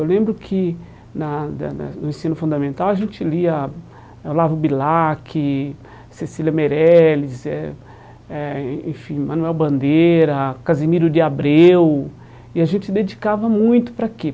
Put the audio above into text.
Eu lembro que na na na no ensino fundamental a gente lia Olavo Bilac, Cecília Meirelles, eh eh en enfim, Manoel Bandeira, Casimiro de Abreu, e a gente dedicava muito para quê?